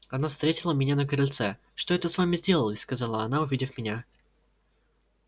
она встретила меня на крыльце что это с вами сделалось сказала она увидев меня